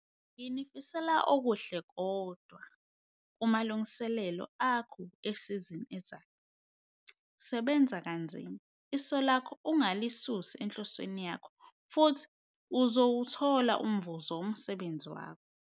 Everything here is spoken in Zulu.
Nginifisela okuhle kodwa kumalungiselelo akho esizini ezayo. Sebenza kanzima, iso lakho ungalisusi enhlosweni yakho futhi uzowuthola umvuzo womsebenzi wakho.